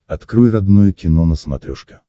открой родное кино на смотрешке